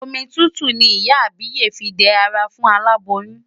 Omi tútù ni ìyá àbíyè fí ń dẹ ara fún aláboyún.